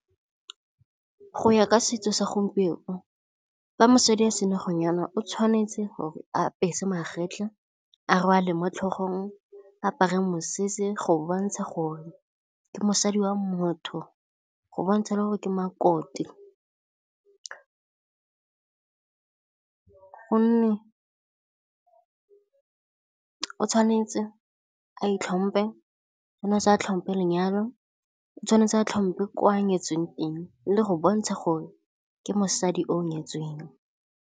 Go ya ka setso sa gompieno fa mosadi a senna go nyalwa, o tshwanetse gore a apese magetlha, a rwale mo tlhogong, a apare mosese go bontsha gore ke mosadi wa motho, go bontsha le gore ke makoti. Gonne o tshwanetse a itlhomphe, o tshwanetse a tlhompe lenyalo, o tshwanetse a tlhompe kwa nyetsweng teng le go bontsha gore ke mosadi o nyetsweng.